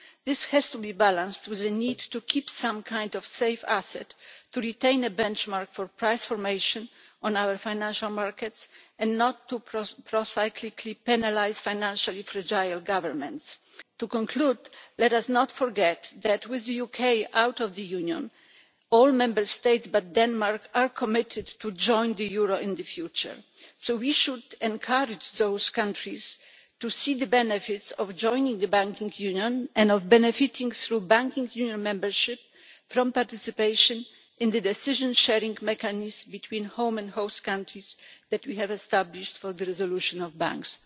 This has to be balanced with the need to keep some kind of safe asset to retain a benchmark for price formation on our financial markets, and not to procyclically penalise financially fragile governments. To conclude, let us not forget that with the UK out of the Union, all Member States except Denmark are committed to joining the euro in the future, so we should encourage those countries to see the benefits of joining the Banking Union and of benefiting through Banking Union membership from participation in the decision sharing mechanism between home and host countries that we have established for the resolution of banks.